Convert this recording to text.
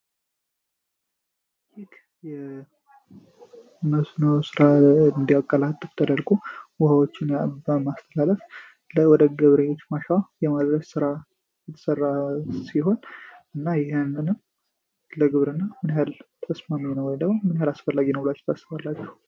ሂክ የመስኖዎ ሥራ እንዲያቀላጥፍ ተደልጉ ውህዎችን የአባ አስተላለፍ ወደ ገብሬዎች ማሻ የማድረጅ ሥራ የተሰራ ሲሆን እና ይህንንም ለግብር እና ምን ያህል ተስማሚ ነው ታስባላቸሁ?